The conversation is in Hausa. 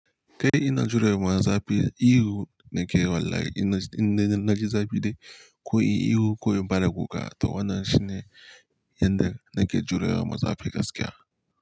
Ka ina jurewa za fi ihu nake wallahi inna in na ji zafi dai ko in ihu ko in fara kuka to wannan shine yanda nake jure maza fi gaskiya.